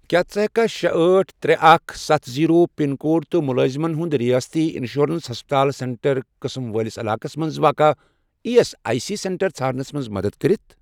کیٛاہ ژٕ ہیٚککھا شے، أٹھ، ترے، اکھ، ستھَ، زیٖرو، پَن کوڈ تہٕ مُلٲزِمن ہُنٛد رِیٲستی اِنشورَنس ہسپَتال سینٹر قٕسم وٲلِس علاقس مَنٛز واقع E S I C centre ژھارنَس مَنٛز مدد کٔرِتھ؟